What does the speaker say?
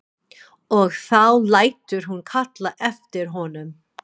Og þá lætur hún kalla eftir honum.